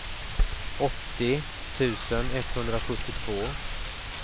åttio tusen etthundrasjuttiotvå